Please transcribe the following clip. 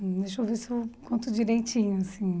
Deixa eu ver se eu conto direitinho, assim.